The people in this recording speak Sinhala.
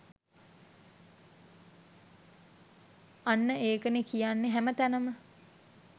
අන්න ඒකනෙ කියන්නෙ හැම තැනම